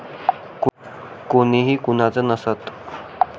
कुणीही कुणाचं नसतं!